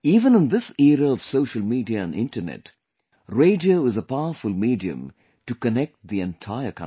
Even in this era of social media and internet, radio is a powerful medium to connect the entire country